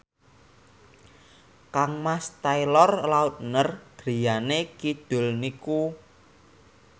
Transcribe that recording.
kangmas Taylor Lautner griyane kidul niku